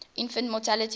infant mortality rate